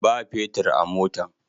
Ba petir a motan.